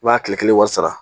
I b'a tile kelen wari sara